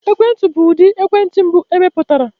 Ekwentị bụ ụdị ekwentị mbụ emepụtara.